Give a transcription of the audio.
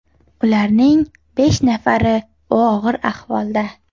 Ularning besh nafari og‘ir ahvolda.